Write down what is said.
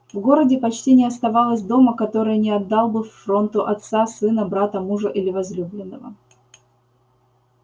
в городе почти не оставалось дома который не отдал бы фронту отца сына брата мужа или возлюбленного